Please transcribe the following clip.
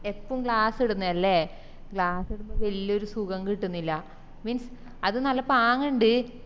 എപ്പോം glass ഇടന്നെല്ലേ glass ഇടുമ്പോ വല്യൊരു സുഖം കിട്ടിന്നില്ല means അത് നല്ല പാങ്ങിൻഡ്